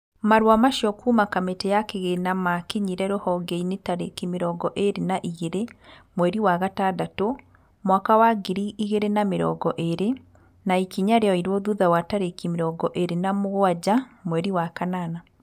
Marũa macio kuuma kamĩtĩ ya kĩgĩna maakinyĩre rũhonge-inĩ tarĩki mĩrongo ĩrĩ na igĩrĩ, mweri wa gatandatũ, mwaka wa ngiri igĩrĩ na mĩrongo ĩrĩ, na ikinya rĩoirwo thutha wa tarĩki mĩrongo ĩrĩ na mũgwanja mweri wa kanana.